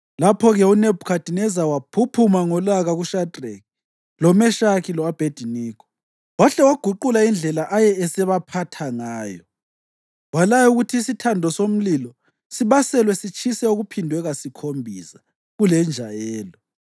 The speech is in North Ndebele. Lapho-ke uNebhukhadineza waphuphuma ngolaka kuShadreki, loMeshaki lo-Abhediniko, wahle waguqula indlela aye esebaphatha ngayo. Walaya ukuthi isithando somlilo sibaselwe sitshise okuphindwe kasikhombisa kulenjayelo